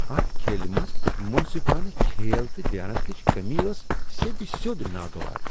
اتھ کھیلہ منٛز منصفانہٕ کھیل تہٕ دیانتٕچ کٔمی ٲس سیٚد سیوٚد ناگوار۔